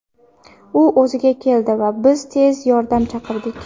U o‘ziga keldi va biz tez yordam chaqirdik.